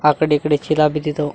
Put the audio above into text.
ಆ ಕಡೆ ಈ ಕಡೆ ಚೀಲ ಬಿದ್ದಿದಾವು.